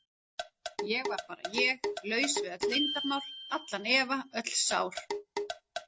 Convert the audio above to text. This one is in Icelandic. Ég var bara ég, laus við öll leyndarmál, allan efa, öll sár.